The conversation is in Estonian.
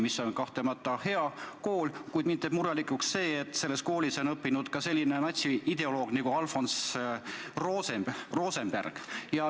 See on kahtlemata hea kool, kuid mind teeb murelikuks see, et selles koolis on õppinud ka selline natsiideoloog nagu Alfred Rosenberg.